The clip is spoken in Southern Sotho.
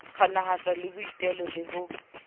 kganahatswa ke boitelo le ho